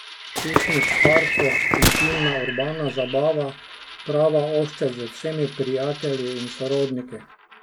Piknik v parku, intimna urbana zabava, prava ohcet z vsemi prijatelji in sorodniki?